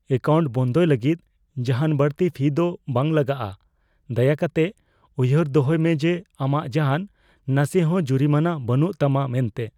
Account ᱵᱚᱱᱫᱚᱭ ᱞᱟᱹᱜᱤᱫ ᱡᱟᱦᱟᱱ ᱵᱟᱹᱲᱛᱤ ᱯᱷᱤ ᱫᱚ ᱵᱟᱝ ᱞᱟᱜᱟᱜᱼᱟ ᱾ ᱫᱟᱭᱟᱠᱟᱛᱮᱫ ᱩᱭᱦᱟᱹᱨ ᱫᱚᱦᱚᱭ ᱢᱮ ᱡᱮ ᱟᱢᱟᱜ ᱡᱟᱦᱟᱱ ᱱᱟᱥᱮᱦᱚ ᱡᱩᱨᱤᱢᱟᱱᱟ ᱵᱟᱹᱱᱩᱜ ᱛᱟᱢᱟ ᱢᱮᱱᱛᱮ ᱾